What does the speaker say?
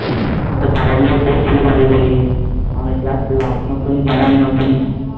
ওটা পাড়ার লোক বলছিল ও দাঁড়িয়ে দাঁড়িয়ে আমরা যাচ্ছিলাম নতুন জায়গায়